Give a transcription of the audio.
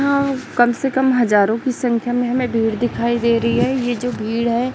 कम से कम हजारों की संख्या में हमें भीड़ दिखाई दे रही हैं ये जो भीड़ है।